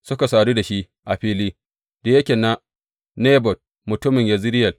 Suka sadu da shi a filin da yake na Nabot mutumin Yezireyel.